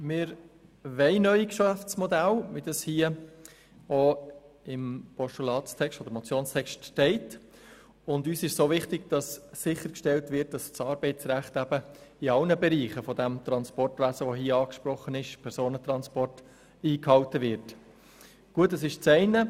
Wir heissen neue Geschäftsmodelle, wie sie der Vorstoss fordert, gut, und sicher muss auch die Einhaltung des Arbeitsrechts in allen Bereichen des Transportwesens sichergestellt sein.